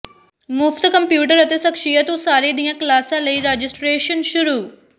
ਮੁਫ਼ਤ ਕੰਪਿਊਟਰ ਅਤੇ ਸ਼ਖ਼ਸੀਅਤ ਉਸਾਰੀ ਦੀਆਂ ਕਲਾਸਾਂ ਲਈ ਰਜਿਸਟੇ੍ਰਸ਼ਨ ਸ਼ੁਰੂ